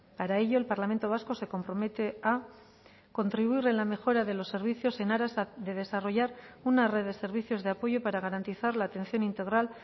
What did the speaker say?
para ello el parlamento vasco se compromete a contribuir en la mejora de los servicios en aras de desarrollar una red de servicios de apoyo para garantizar la atención integral